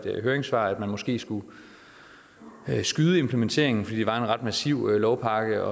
høringssvar at man måske skulle skyde implementeringen fordi det var en ret massiv lovpakke